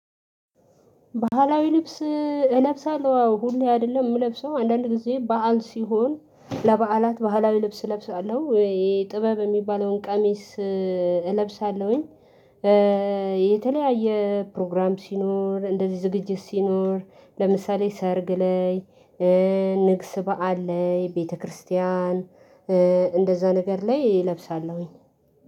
ባህላዊ ልብስ እለብሳለሁ አዎ ሁሌ አይደለም የምለብሰው አንዳንድ ጊዜ በዓን ሲሆን ለበዓላት ባህላዊ ልብስ እለብሳለሁ የጥበብ የሚባለውን ቀሚስ እለብሳለሁኝ። የተለያየ ፕሮግራም ሲኖር እንደዚህ ዝግጅት ሲኖር ለምሳሌ ሰርግ ላይ ንግስ በዓል ላይ ቤተክርስቲያን እንደዛ ነገር ላይ እለብሳለሁኝ